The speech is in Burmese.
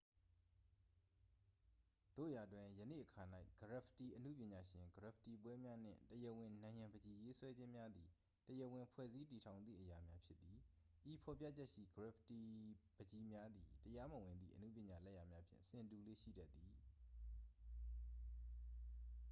"သို့ရာတွင်၊ ယနေ့အခါ၌ ဂရက်ဖစ်တီအနုပညာရှင်၊ ဂရက်ဖစ်တီပွဲများနှင့် "တရားဝင်" နံရံပန်းချီရေးဆွဲခြင်းများသည် တရားဝင်ဖွဲ့စည်းတည်ထောင်သည့်အရာများဖြစ်သည်။ ဤဖော်ပြချက်ရှိ ဂရက်ဖစ်တီပန်းချီများသည် တရားမဝင်သည့် အနုပညာလက်ရာများဖြင့် ဆင်တူလေ့ ရှိတတ်သည်။